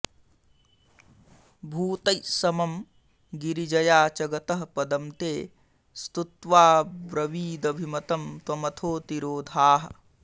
भूतैस्समं गिरिजया च गतः पदं ते स्तुत्वाब्रवीदभिमतं त्वमथो तिरोधाः